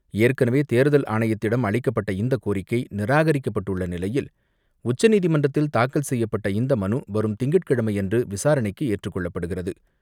ஏற்கனவே, தேர்தல் ஆணையத்திடம் அளிக்கப்பட்ட இந்த கோரிக்கை, நிராகரிக்கப்பட்டுள்ள நிலையில் உச்சநீதிமன்றத்தில் தாக்கல் செய்யப்பட்ட இந்த மனு வரும் திங்கட்கிழமையன்று ரணைக்கு ஏற்றுக் கொள்ளப்படுகிறது.